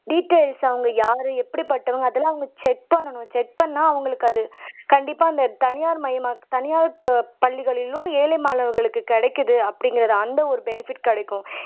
details அவங்க யாரு எப்படிப்பட்டவங்க அதெல்லாம் அவங்க செக் பண்ணனும் செக் பண்ணுனா அவங்களுக்கு அது கண்டிப்பா அந்த தனியார்மய தனியார் பள்ளிகளிலும் ஏழை மாணவர்களுக்கு கிடைக்குது அப்படிங்கிற அந்த ஒரு பெனிபிட் கிடைக்கும்